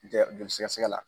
joli sɛgɛsɛgɛ la.